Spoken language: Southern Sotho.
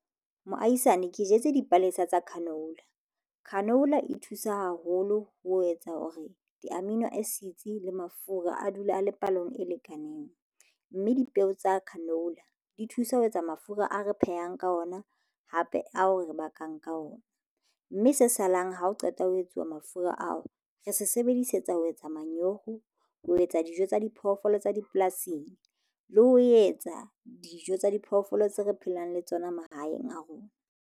Moahisane ke jetse dipalesa tsa canola. Canola e thusa haholo ho etsa hore di-amino acids le mafura a dula a le palong e lekaneng mme dipeo tsa canola di thusa ho etsa mafura ao re phehang ka ona hape ao re bakang ka ona mme se salang ha o qeta ho etsuwa mafura ao. Re se sebedisetsa ho etsa manyoho ho etsa dijo tsa diphoofolo tsa dipolasing le ho etsa dijo tsa diphoofolo tse re phelang le tsona mahaeng a rona.